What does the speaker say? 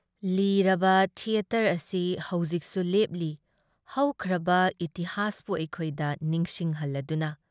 ꯂꯤꯔꯕ theatre ꯑꯁꯤ ꯍꯧꯖꯤꯛꯁꯨ ꯂꯦꯞꯂꯤ ꯍꯧꯈ꯭ꯔꯕ ꯏꯇꯤꯍꯥꯁꯄꯨ ꯑꯩꯈꯣꯏꯗ ꯅꯤꯡꯁꯤꯡꯍꯜꯂꯗꯨꯅ ꯫